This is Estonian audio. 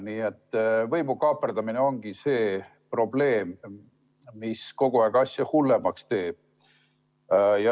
Nii et võimu kaaperdamine ongi see probleem, mis kogu aeg asja hullemaks teeb.